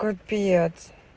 капец